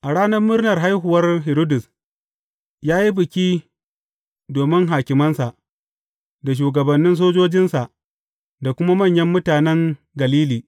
A ranar murnar haihuwar Hiridus, ya yi biki domin hakimansa, da shugabannin sojojinsa, da kuma manyan mutanen Galili.